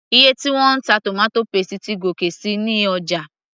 iye tí wọ́n ń ta tomato paste ti gòkè síi ní ọjà